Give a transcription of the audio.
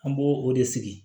An b'o o de sigi